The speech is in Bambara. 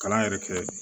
Kalan yɛrɛ kɛ